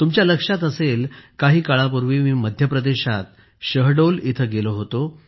तुमच्या लक्षात असेल काही काळापूर्वी मी मध्यप्रदेशात शहडोल येथे गेलो होतो